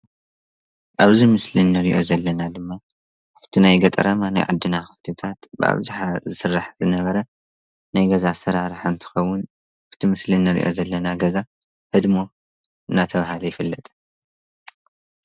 ኣብዚ ምስሊ ንሪኦ ዘለና ድማ ኣብቲ ገጠራማ ናይ ዓድና ክፍልታት ብኣብዝሓ ዝስራሕ ዝነበረ ናይ ገዛ ኣሰራርሓ እንትኸውን እቲ ብምስሊ ንሪኦ ዘለና ገዛ ህድሞ እናተባህለ ይፍለጥ፡፡